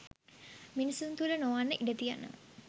මිනිසුන් තුළ නොවන්න ඉඩ තියෙනවා.